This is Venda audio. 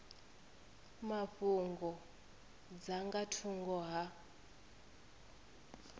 mafhungo dza nga thungo ha